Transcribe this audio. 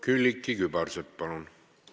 Külliki Kübarsepp, palun!